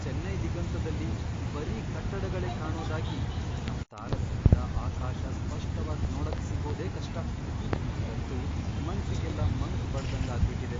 ಚೆನ್ನೈ ದಿಗಂತದಲ್ಲಿ ಬರೀ ಕಟ್ಟಡಗಳೇ ಕಾಣೋದಾಗಿ ನಮ್ ತಾರಸಿಯಿಂದ ಆಕಾಶ ಸ್ಪಷ್ಟವಾಗ್ ನೋಡಕ್ಸಿಗೋದೇ ಕಷ್ಟ.. ನಂಗಂತೂ ಮನ್ಸಿಗೆಲ್ಲ ಮಂಕ್ ಬಡ್ದಂಗ್ ಆಗ್ಬಿಟಿದೆ.